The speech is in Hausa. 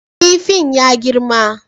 Kifin ya girma